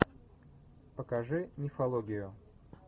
покажи мифологию